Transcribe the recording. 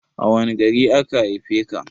A wani gari aka haife ka?